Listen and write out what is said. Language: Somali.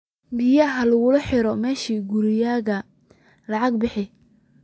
Biya liikuxire mesha kurigeyga ila lacag bixiya.